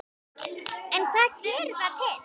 En hvað gerir það til